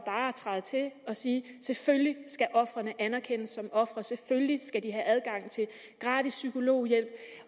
træde til og sige at selvfølgelig skal ofrene anerkendes som ofre selvfølgelig skal de have adgang til gratis psykologhjælp